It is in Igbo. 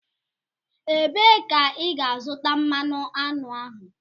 Ebee ka ị ga-azụta mmanụ aṅụ ahụ?